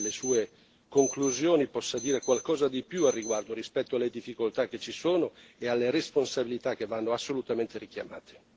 E io credo e mi auguro che anche nelle Sue conclusioni possa dire qualcosa di più al riguardo, rispetto alle difficoltà che ci sono e alle responsabilità che vanno assolutamente richiamate.